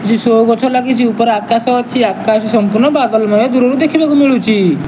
କିଛି ଶୋ ଗଛ ଲାଗିଛି। ଉପରେ ଆକାଶ ଅଛି। ଆକାଶ ସମ୍ପୂର୍ଣ୍ଣ ବାଦଲମୟ ଦୂରରୁ ଦେଖିବାକୁ ମିଳୁଚି।